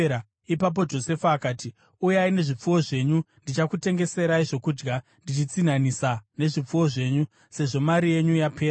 Ipapo Josefa akati, “Uyai nezvipfuwo zvenyu. Ndichakutengeserai zvokudya ndichitsinhanisa nezvipfuwo zvenyu, sezvo mari yenyu yapera.”